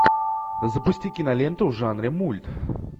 запусти киноленту в жанре мульт